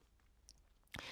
DR K